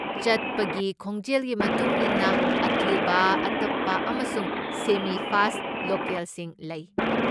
ꯆꯠꯄꯒꯤ ꯈꯣꯡꯖꯦꯜꯒꯤ ꯃꯇꯨꯡ ꯏꯟꯅ, ꯑꯊꯨꯕ, ꯑꯇꯞꯄ ꯑꯃꯁꯨꯡ ꯁꯦꯃꯤ ꯐꯥꯁꯠ ꯂꯣꯀꯦꯜꯁꯤꯡ ꯂꯩ꯫